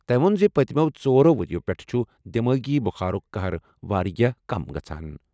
تٔمۍ ووٚن زِ پٔتِمٮ۪و ژورَو ؤرۍ یَو پٮ۪ٹھٕ چھُ دماغی بخارُک قہر واریاہ کم گژھان۔